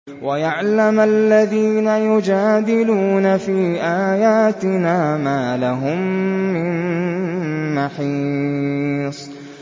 وَيَعْلَمَ الَّذِينَ يُجَادِلُونَ فِي آيَاتِنَا مَا لَهُم مِّن مَّحِيصٍ